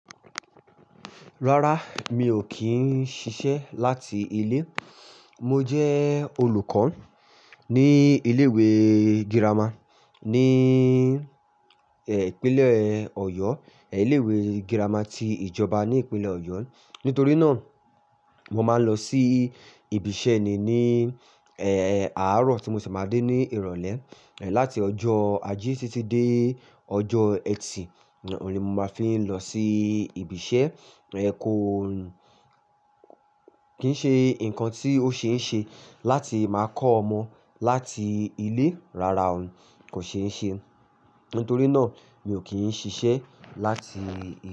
Rárá, mi ò kí ń ṣiṣẹ́ láti ilé. Mo jẹ́ olùkọ́ ní ilé ìwé girama ní, eh, ìpínlẹ̀ Ọ̀yọ́, ilé ìwé girama ti ìjọba ní ìpínlẹ̀ Ọ̀yọ́. Nítorí náà, mo máa ń lọ sí ibi iṣẹ́ ni, eh, àárọ̀ tí mo ṣe máa dé ní ìrọ̀lẹ́, eh, láti ọjọ́ Ajé títí dé ọjọ́ ẹtì. Òní mo máa fi ń lọ sí ibi iṣẹ́, eh, kó, kí ń ṣe nǹkan tí ó ṣe é ń ṣe láti máa kọ́ ọmọ láti ilé. Rárá o, kò ṣe é ń ṣe. Nítorí náà, mi ò kí ń ṣiṣẹ́ láti ilé.